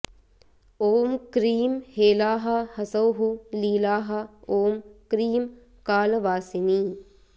ॐ क्रीं हेलाः हसौः लीलाः ॐ क्रीं कालवासिनी